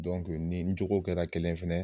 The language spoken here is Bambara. Dɔnke ni n jogo kɛra kelen ye fɛnɛ